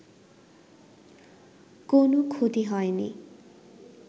কোনো ক্ষতি হয়নি